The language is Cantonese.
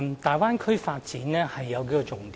大灣區的發展有數項重點。